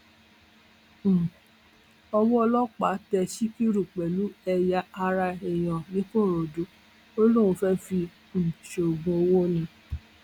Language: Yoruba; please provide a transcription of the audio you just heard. um owó ọlọpàá tẹ síkírù pẹlú ẹyà ara èèyàn ńìkòròdú ó lóun fẹẹ fi um ṣoògùn owó ni